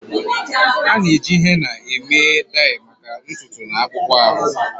A na-eji henna eme dai maka ntutu na akpụkpọ ahụ.